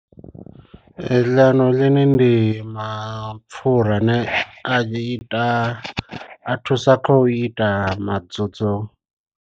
Lanolin ndi mapfura ane a ita a thusa kha u ita madzudzu.